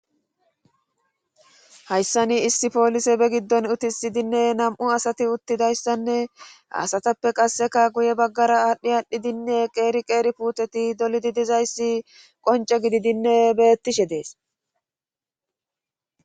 Hayssa ni issi poolise be giddon utisidinne nam'u asati uttidayssanne hasatappe qasseka guye baggara aadhdhi aadhdhidinne qeeri qeeri puuteti dolidi dizayssi qonce gididinne bettishe dees.